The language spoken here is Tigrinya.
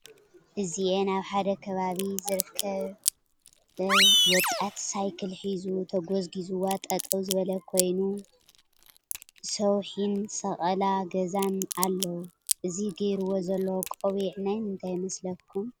እዚአ አብ ሐደ ከባቢ ዝርከብ ወጣት ሳይክል ሒዙ ተጎዝጊዝዋ ጠጠው ዝበለ ኮይኑ ሰውሒን ሰቀላ ገዛን አለው። እቲ ገይርዎ ዘሎ ቆቢዕ ናይ ምንታይ ይመስለኩም?